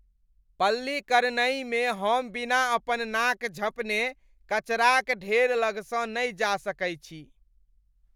पल्लीकरनई मे हम बिना अपन नाक झँपने कचराक ढेर लगसँ नहि जा सकै छी।